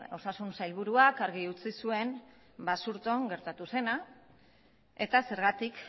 osasun sailburuak argi utzi zuen basurton gertatu zena eta zergatik